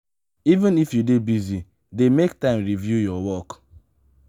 even if you dey busy dey make time review your work.